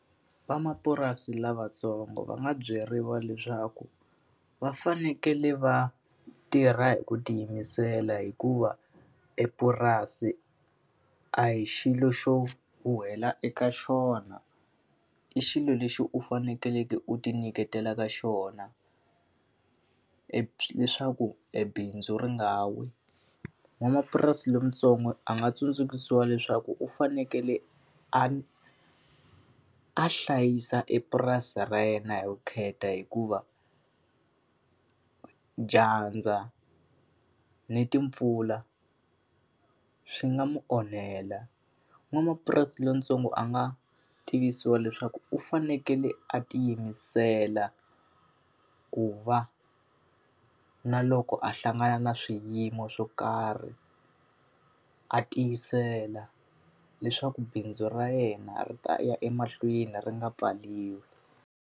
Van'wamapurasi lavatsongo va nga byeriwa leswaku va fanekele va tirha hi ku tiyimisela hikuva epurasi a hi xilo xo huhwela eka xona, i xilo lexi u fanekeleke u tinyiketela eka xona leswaku ebindzu ri nga wi. N'wamapurasi lontsongo a nga tsundzuxiwa leswaku u fanekele a a hlayisa epurasini ra yena hi vukheta hikuva, dyandza ni timpfula swi nga n'wi onhela. N'wamapurasi lontsongo a nga tivisiwa leswaku u fanekele a tiyimisela, ku va na loko a hlangana na swiyimo swo karhi a tiyisela leswaku bindzu ra yena ri ta ya emahlweni ri nga pfariwi.